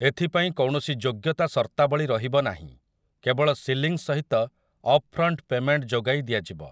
ଏଥିପାଇଁ କୌଣସି ଯୋଗ୍ୟତା ସର୍ତ୍ତାବଳୀ ରହିବ ନାହିଁ, କେବଳ ସିଲିଂ ସହିତ ଅପ୍‌ଫ୍ରଣ୍ଟ ପେମେଣ୍ଟ ଯୋଗାଇ ଦିଆଯିବ ।